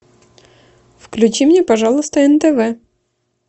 включи мне пожалуйста нтв